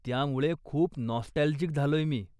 त्यामुळे खूप नॉस्टॅल्जिक झालोय मी.